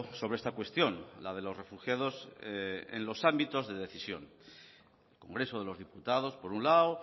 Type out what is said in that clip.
sobre esta cuestión la de los refugiados en los ámbitos de decisión el congreso de los diputados por un lado